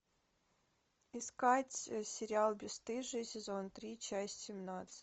искать сериал бесстыжие сезон три часть семнадцать